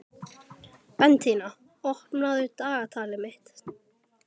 Bentína, opnaðu dagatalið mitt.